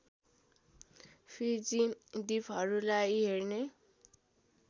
fizzy द्वीपहरूलाई हेर्ने